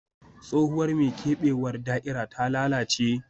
Tsohuwar mai keɓewar da'ira ta lalace